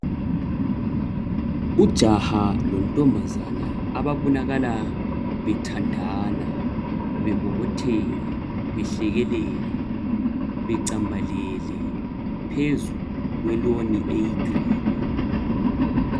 Ujaha lo nkazana ababonakala bethandana bebobotheka behlekelela becambalele phezu kotshani obuluhlaza.